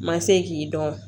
Ma se k'i dɔn